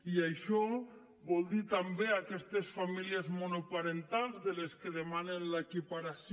i això vol dir també aquestes famílies monoparentals de les que demanen l’equiparació